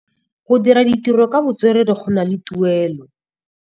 Go dira ditirô ka botswerere go na le tuelô.